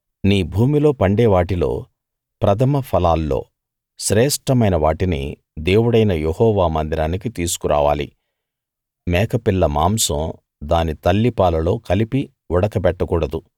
నీ భూమిలో పండే వాటిలో ప్రథమ ఫలాల్లో శ్రేష్ఠమైన వాటిని దేవుడైన యెహోవా మందిరానికి తీసుకురావాలి మేకపిల్ల మాంసం దాని తల్లిపాలలో కలిపి ఉడకబెట్టకూడదు